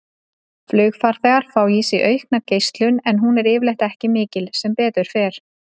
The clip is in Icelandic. Flugfarþegar fá í sig aukna geislun en hún er yfirleitt ekki mikil, sem betur fer.